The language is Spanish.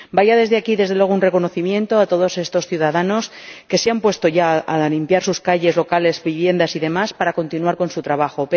Vaya desde aquí, desde luego, un reconocimiento a todos esos ciudadanos que se han puesto ya a limpiar sus calles, locales, viviendas y demás para continuar con su trabajo.